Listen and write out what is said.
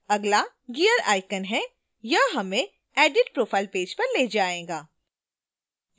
अगला gear icon है यह हमें edit profile पेज पर ले जाएगा